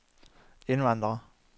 indvandrere